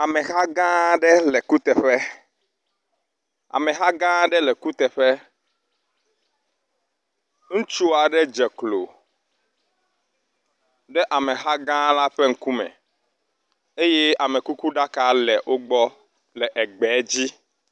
Ameha gã aɖe le kuteƒe. Ameha gã aɖe le kuteƒe. Ŋutsu aɖe dze klo ɖe ameha gã la ƒe ŋkume eye amekukuɖaka le wo gbɔ le egbe dzi.